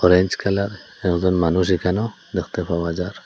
Orange colour একজন মানুষ এখানেও দেখতে পাওয়া যার ।